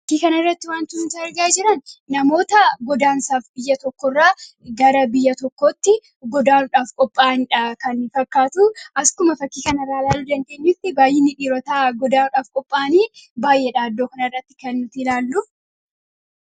Fakkii kana irratti wanti nuti argaa jiran namoota godaansaaf biyya tokko irraa gara biyya tokkootti godaanudhaaf qopha'aniidha kan fakkaatu akkuma fakkii kanarraa ilaalu dandeenyutti baay'iini dhiirotaa godaanuudhaaf qopha'anii baay'eedha iddoo kan irratti kani ilaallu.